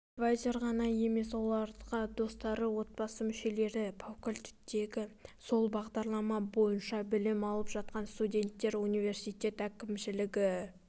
тек эдвайзер ғана емес оларға достары отбасы мүшелері факультетте сол бағдарлама бойынша білім алып жатқан студенттер университет әкімшілігі